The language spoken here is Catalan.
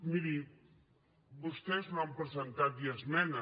miri vostès no han presentat ni esmenes